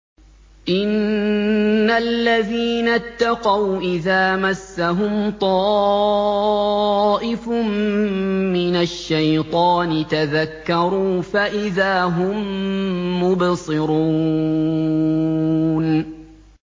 إِنَّ الَّذِينَ اتَّقَوْا إِذَا مَسَّهُمْ طَائِفٌ مِّنَ الشَّيْطَانِ تَذَكَّرُوا فَإِذَا هُم مُّبْصِرُونَ